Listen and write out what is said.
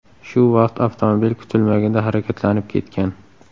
Shu vaqt avtomobil kutilmaganda harakatlanib ketgan.